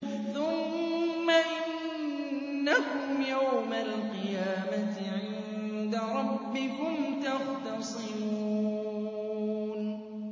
ثُمَّ إِنَّكُمْ يَوْمَ الْقِيَامَةِ عِندَ رَبِّكُمْ تَخْتَصِمُونَ